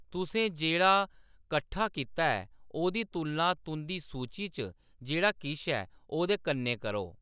तुसें जेह्‌‌ड़ा कट्ठा कीता ऐ ओह्‌‌‌दी तुलना तुंʼदी सूची च जेह्‌‌ड़ा किश ऐ ओह्‌दे कन्नै करो।